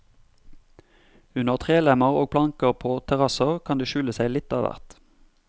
Under trelemmer og planker på terrasser kan det skjule seg litt av hvert.